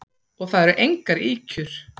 Og það eru engar ýkjur.